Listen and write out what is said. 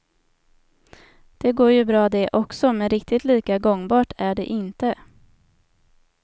Det går ju bra det också, men riktigt lika gångbart är det inte.